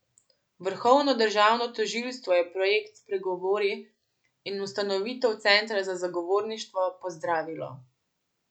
Vrhovno državno tožilstvo je projekt Spregovori in ustanovitev Centra za zagovorništvo pozdravilo.